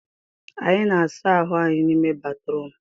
Anyị na-asa ahụ anyị n'ime batrum